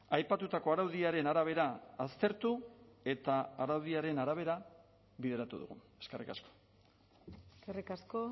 aipatutako araudiaren arabera aztertu eta araudiaren arabera bideratu dugu eskerrik asko eskerrik asko